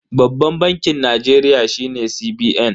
Babban bankin Najeriya shine CBN.